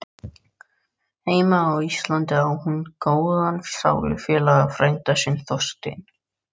Heima á Íslandi á hún góðan sálufélaga, frænda sinn Þorstein